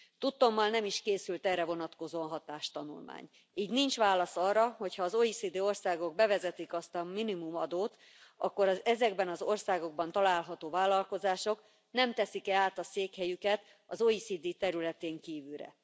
Tudtommal nem is készült erre vonatkozó hatástanulmány, így nincs válasz arra, hogy ha az OECD országok bevezetik azt a minimumadót, akkor az ezekben az országokban található vállalkozások nem teszik e át a székhelyüket az OECD területén kívülre.